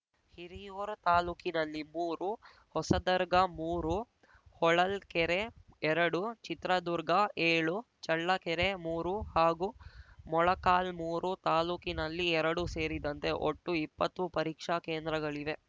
ಹಿರಿಯೂವರ ತಾಲೂಕಿನಲ್ಲಿ ಮೂರು ಹೊಸದರ್ಗಮೂರು ಹೊಳಲ್ಕೆರೆಎರಡು ಚಿತ್ರದುರ್ಗಏಳು ಚಳ್ಳಕೆರೆಮೂರು ಹಾಗೂ ಮೊಳಕಾಲ್ಮೂರು ತಾಲೂಕಿನಲ್ಲಿ ಎರಡು ಸೇರಿದಂತೆ ಒಟ್ಟು ಇಪ್ಪತ್ತು ಪರೀಕ್ಷಾ ಕೇಂದ್ರಗಳಿವೆ